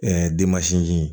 jigin